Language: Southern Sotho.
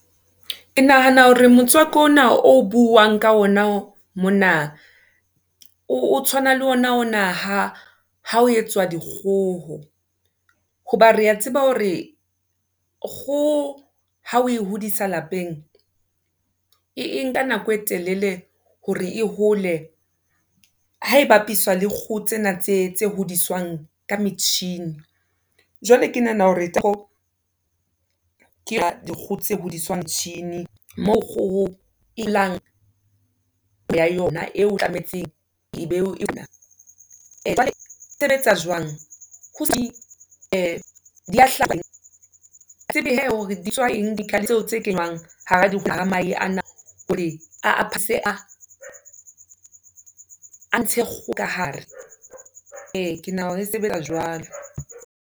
Ke nahana hore motswako ona o buang ka ona mona o tshwana le ona o na ha ha ho etswa dikgoho hoba re a tseba hore kgoho ha o e hodisa lapeng, e nka nako e telele hore e hole ha e bapiswa le kgoho tsena tse tse hodiswang ka metjhini. Jwale ke nahana hore ke yona dikgoho tse hodiswang, motjhini moo kgoho e ho ya yona eo sebetsa jwang hore a a ntshe kgoho kahare, e ke nahana hore e sebetsa jwalo.